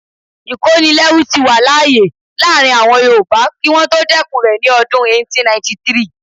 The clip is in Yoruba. Ìkónilẹ́rú tí wà láàyè láàrin àwọn yoòbá kí wọ́n tó dẹ́kun rẹ̀ ní ọdún 1893